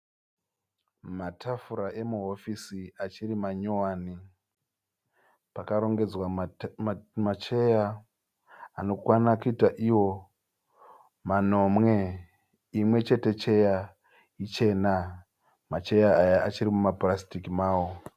Matafura emuhofisi achiri manyowani, pakarongedzwa ma cheya anokwana kuita iwo manomwe imwechete cheya ichena. Macheya aya achiri muma purasitiki mawo.